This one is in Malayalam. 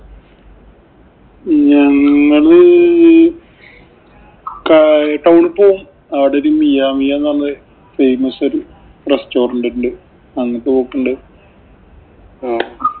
ഞങ്ങള് ആഹ് town ഈ പോവും. അവിടെ ഒരു മിയാ മിയാ എന്ന് പറഞ്ഞൊരു famous ഒരു restaurant ഉണ്ട്. അങ്ങട്ട് പോക്കുണ്ട്. ആഹ്